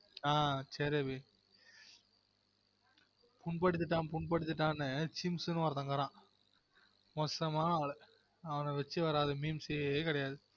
ஆஹ் சேரி அபி புண் படுத்திட்டான் புண் படுத்திட்டான் சிம்ஷ்னு ஒருத்தன் இருக்குறான் மோசமான ஆளு அவன வச்சு வராத memes கிடையாது